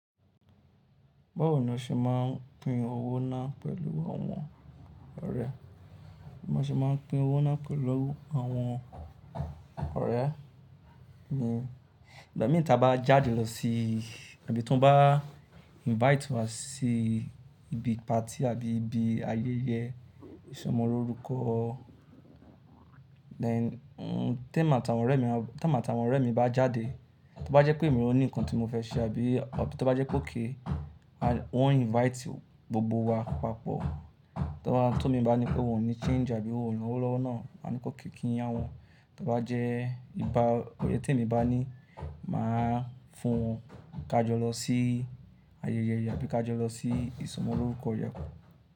Báwo ni a ṣe máa ń pín owó náà pẹ̀lú àwọn ọ̀rẹ́? Bí mo ṣe máa ń pín owó náà pẹ̀lú àwọn ọ̀rẹ́ mi, ìgbà mìí tí a bá jáde lọ sí àbí tí wọ́n bá invite wá sí ibi party àbí ibi ayẹyẹ ìsọmọlorúkọ. Then tí èmi àti àwọn ọ̀rẹ́ mi bá jáde, tí ó bá jẹ́ pé èmi ò ní nǹkan tí mo fẹ́ ṣe àbí tí ó bá jẹ́ pe okay wọ́n invite gbogbo wa papọ̀. Tí imi bá ní pé wọ́n ò ní change àbí wón ni owo lówó náà, máa ní okay kín yá wọn. Tí ó bá jẹ́ nípa èyí tí èmi bá ní máa fún wọn ká jọ lọ sí ayẹyẹ àbí ká jọ lọ sí ìsọmọlorúkọ yẹn.